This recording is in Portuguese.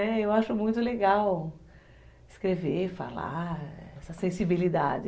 É, eu acho muito legal escrever, falar, essa sensibilidade.